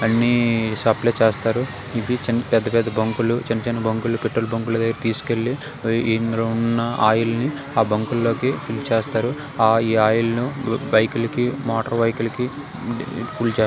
ఇవన్నీ సప్లయ్ చేస్తారు ఇవి చిన--పెద్ద పెద్ద బంక్లు చిన్న చిన్న బంక్లు పెట్రోల్ బంక్ లకు తెసుకెళ్ళి ఈ ఇందులో ఉన్న ఆయిల్ ని ఆ బంక్ లోకి ఫిల్ చేస్తారు ఆ ఈ ఆయిల్ ను బైక్ లకి మోటార్ బైక్ లకు--